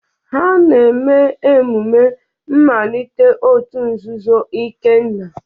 Ha na-eme emume mmalite òtù nzuzo Ikenna.